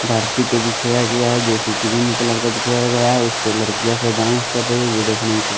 धरती पे बिछाया गया है जो कि ग्रीन कलर का बिछाया गया है उस पर लड़कियाँ से डांस कर रही है जो देखने में कु --